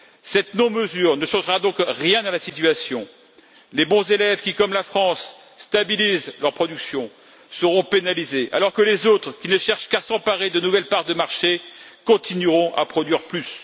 Cette non mesure ne changera donc rien à la situation. Les bons élèves qui, comme la France, stabilisent leur production seront pénalisés alors que les autres, qui ne cherchent qu'à s'emparer de nouvelles parts de marché, continueront à produire plus.